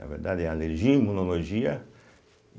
Na verdade, é Alergia, Imunologia.